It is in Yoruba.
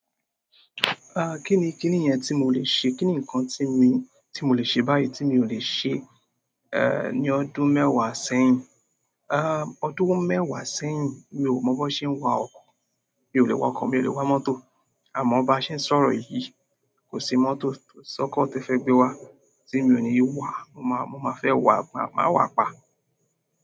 Ah kíni kíni yẹn tí mo lè ṣe? Kí ni nǹkan tí mi, tí mo lè ṣe báyìí tí mi ò lè ṣe, eh ní ọdún mẹ́wàá sẹ́yìn? Ah ọdún mẹ́wàá sẹ́yìn mi ò mọ bó ṣe ń wa ọkọ̀. Mi ò lè wa ọkọ̀, mi ò lè wa mọ́tò. Àmọ́ bá ṣe ń sọ̀rọ̀ yìí, kò sí mọ́tò ko sọ́kọ̀ te fẹ́ gbé wa tí mi ò ní wàá. Mo máa, mo máa fẹ́ wà, mo máa wà pa.